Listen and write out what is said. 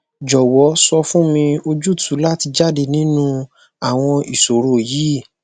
jọwọ sọ fun mi ojutu lati jade ninu awọn iṣoro yii